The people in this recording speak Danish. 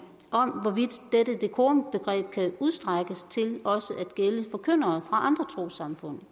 om hvorvidt dette dekorumbegreb kan udstrækkes til også at gælde forkyndere andre trossamfund